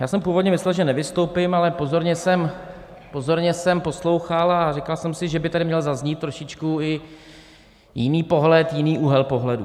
Já jsem původně myslel, že nevystoupím, ale pozorně jsem poslouchal a říkal jsem si, že by tady měl zaznít trošičku i jiný pohled, jiný úhel pohledu.